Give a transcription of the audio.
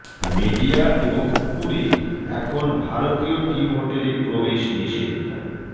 media এবং কুকুরের এখন ভারতীয় টিম হোটেলে প্রবেশ নিষেধ